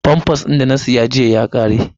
Famfas din da na saya jiya ya ƙare.